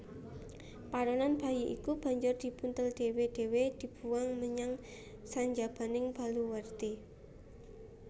Paronan bayi iku banjur dibuntel dhéwé dhéwé dibuwang menyang sanjabaning baluwerti